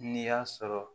N'i y'a sɔrɔ